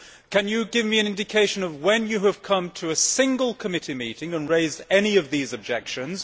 Can you give me an indication of when you have come to a single committee meeting and raised any of these objections?